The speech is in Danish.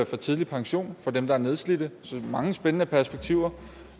til tidlig pension for dem der er nedslidte så jeg mange spændende perspektiver